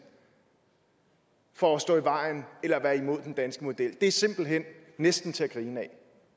for at stå i vejen eller være imod den danske model er simpelt hen næsten til at grine af